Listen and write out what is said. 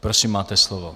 Prosím, máte slovo.